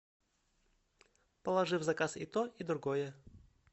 положи в заказ и то и другое